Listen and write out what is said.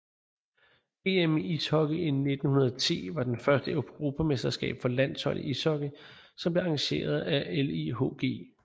EM i ishockey 1910 var det første europamesterskab for landshold i ishockey som blev arrangeret af LIHG